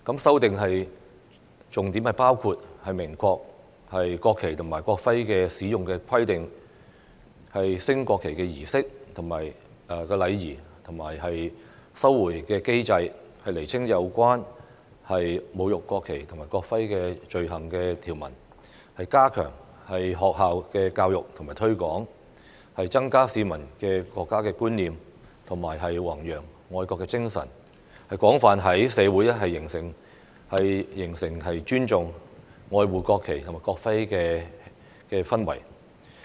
修訂重點包括明確國旗及國徽的使用規定、升國旗儀式的禮儀及收回機制、釐清有關侮辱國旗及國徽罪行的條文、加強學校教育和推廣，增加市民的國家觀念和弘揚愛國精神，廣泛在社會形成尊重、愛護國旗及國徽的氛圍。